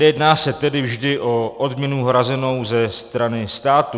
Nejedná se tedy vždy o odměnu hrazenou ze strany státu.